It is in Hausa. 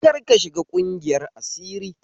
Karka shiga ƙungiyar asiri